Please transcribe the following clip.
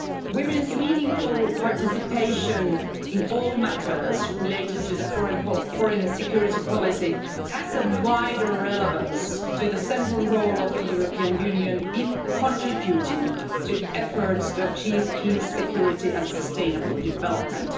Women's meaningful participation in all matters related to foreign and security policy has a wider relevance to the central role of the European Union in contributing to efforts to achieve peace, security and sustainable development.